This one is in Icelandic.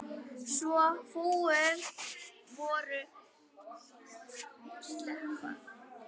Svo fúin voru dekkin.